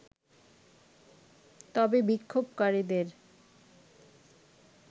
তবে বিক্ষোভকারীদের